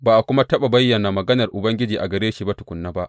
Ba a kuma taɓa bayyana maganar Ubangiji a gare shi ba tukuna ba.